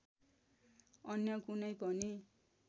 अन्य कुनै पनि